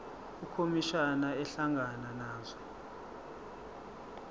ukhomishana ehlangana nazo